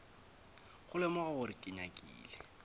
go lemoga gore ke nyakile